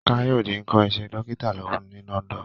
Káyọ̀dé ń kọ́ iṣẹ́ dókítà lọ́wọ́ ní London